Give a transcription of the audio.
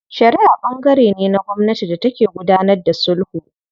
Shariʼa ɓangare ne na gwamnati da take gudanar da sulhu.